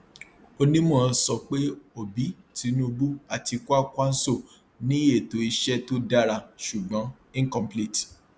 onímọ sọ pé obi tinubu àti kwankwaso ní ètò iṣẹ tó dára ṣùgbọn incomplete